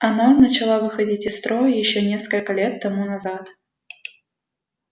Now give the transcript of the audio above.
она начала выходить из строя ещё несколько лет тому назад